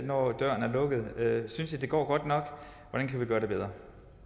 når døren er lukket synes i det går godt nok hvordan kan vi gøre det bedre